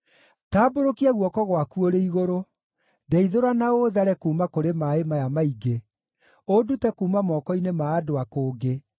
Tambũrũkia guoko gwaku ũrĩ igũrũ; ndeithũra na ũũthare kuuma kũrĩ maaĩ maya maingĩ, ũndute kuuma moko-inĩ ma andũ a kũngĩ